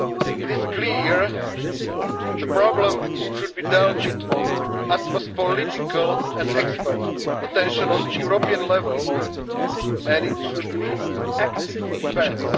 needed first step. It is clear the problem should be dealt with the utmost political and expert attention at the European level and it should lead